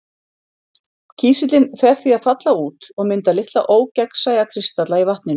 Kísillinn fer því að falla út og mynda litla ógegnsæja kristalla í vatninu.